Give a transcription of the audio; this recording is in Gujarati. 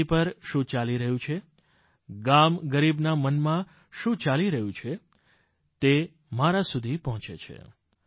ધરતી પર શું ચાલી રહ્યું છે ગામ ગરીબના મનમાં શું ચાલી રહ્યું છે તે મારા સુધી પહોંચે છે